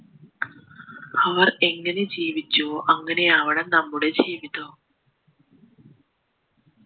അവർ ഏങ്ങനെ ജീവിച്ചുവോ അങ്ങനെയാവണം നമ്മുടെ ജീവിതവും